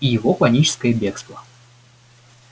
и его паническое бегство